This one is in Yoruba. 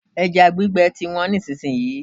Ẹja gbígbẹ ti wọ́n nísìsiyìí.